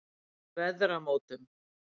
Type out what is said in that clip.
Veðramótum